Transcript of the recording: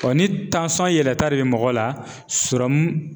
ni yɛlɛta de bɛ mɔgɔ la